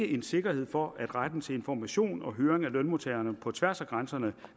en sikkerhed for at retten til information og høring af lønmodtagerne på tværs af grænserne